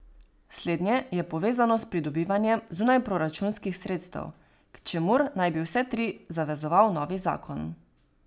Slednje je povezano s pridobivanjem zunajproračunskih sredstev, k čemur naj bi vse tri zavezoval novi zakon.